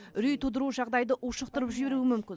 үрей тудыру жағдайды ушықтырып жіберуі мүмкін